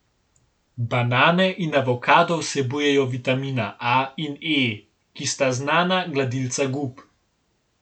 Banane in avokado vsebujejo vitamina A in E, ki sta znana gladilca gub.